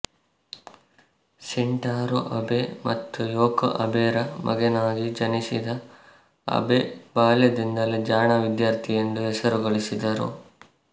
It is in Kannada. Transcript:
ಶಿಂಟಾರೋ ಅಬೆ ಮತ್ತು ಯೋಕೊ ಅಬೆರ ಮಗನಾಗಿ ಜನಿಸಿದ ಅಬೆ ಬಾಲ್ಯದಿಂದಲೇ ಜಾಣ ವಿದ್ಯಾರ್ಥಿ ಎಂದು ಹೆಸರು ಗಳಿಸಿದರು